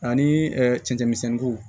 Ani cɛncɛn misɛnw